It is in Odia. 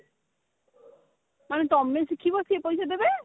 ଆରେ ତମେ ଶିଖିବ ସେ ପଇସା ଦେବେ